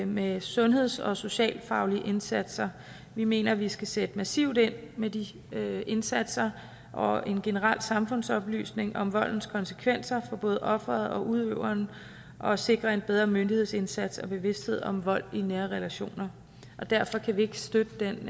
med sundheds og socialfaglige indsatser vi mener at vi skal sætte massivt ind med de indsatser og en generel samfundsoplysning om voldens konsekvenser for både offeret og udøveren og sikre en bedre myndighedsindsats og bevidsthed om vold i nære relationer derfor kan vi ikke støtte den